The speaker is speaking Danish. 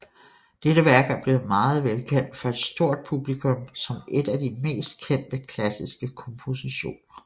Dette værk er blevet meget velkendt for et stort publikum som et af de mest kendte klassiske kompositioner